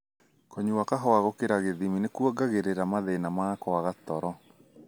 Kũnyua kahũa gũkĩra gĩthimi nĩkũongagĩrĩrĩra mathina ma kũaga toro.